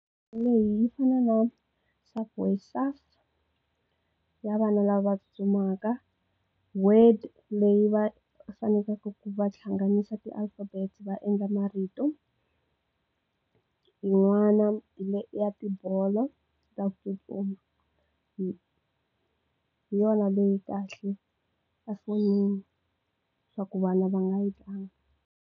Leyi yi fana na Subway surf ya vana lava tsutsumaka, word play leyi va fanekelaka ku va hlanganyisa ti alphabet va endla marito n'wana hi ya tibolo ta ku tsutsuma hi yona leyi kahle efonini swa ku vana va nga yi tlanga.